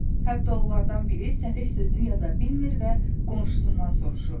Hətta onlardan biri səfeh sözünü yaza bilmir və qonşusundan soruşurdu.